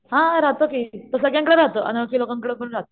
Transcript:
हा रहातो की तो सगळ्यांकडे रहातो अनोळखी लोकांकड पण रहातो.